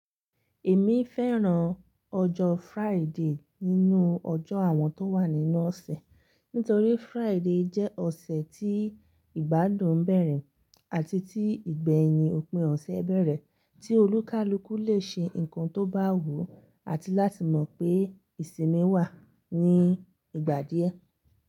Èmi fẹ́ràn ọjọ́ Friday nínú ọjọ́ àwọn tó wà nínú ọ̀sẹ̀, nítorí Friday jẹ́ ọ̀sẹ̀ tí ìgbádùn bẹ̀rẹ̀ àti tí ìgbẹ̀yin òpin ọ̀sẹ̀ bẹ̀rẹ̀, tí olúkalùkù lè ṣe nǹkan tó bá wù ú àti láti mọ̀ pé ìsinmi wà ní ìgbà díẹ̀.